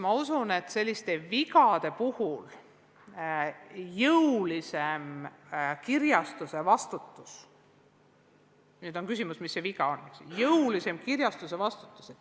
Ma usun, et selliste vigade puhul peaks olema jõulisem kirjastuse vastutus – nüüd on küsimus, mis see viga on, eks ole.